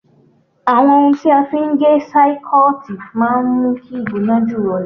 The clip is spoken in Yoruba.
Àwọn ohun tí a fi ń gé sáíkọ́ọ̀tì máa ń mú kí ìgbóná jù rọlẹ̀